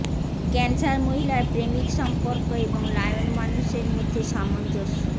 cancer মহিলার প্রেমিক সম্পর্ক এবং লায়ন মানুষের মধ্যে সামঞ্জস্য